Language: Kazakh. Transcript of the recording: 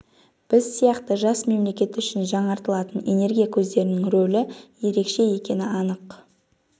біз сияқты жас мемлекет үшін жаңартылатын энергия көздерінің рөлі ерекше екені анық